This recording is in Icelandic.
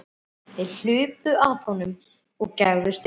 Þeir hlupu að honum og gægðust inn.